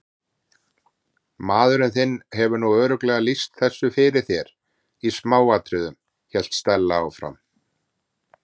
Maðurinn þinn hefur nú örugglega lýst þessu fyrir þér í smáatriðum- hélt Stella áfram.